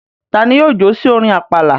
Ta ni yóò jó sí orin àpàlà?